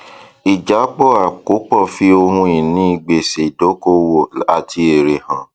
ìjábọ àkópọ fi ohun ìní gbèsè dókòwò àti èrè hàn